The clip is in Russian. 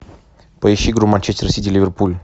поищи игру манчестер сити ливерпуль